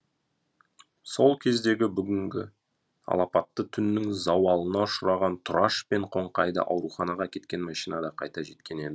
сол кезде бүгінгі алапатты түннің зауалына ұшыраған тұраш пен қоңқайды ауруханаға әкеткен машина да қайта жеткен еді